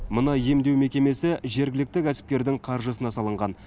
мына емдеу мекемесі жергілікті кәсіпкердің қаржысына салынған